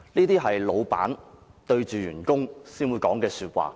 "只有老闆才會對員工說這些話。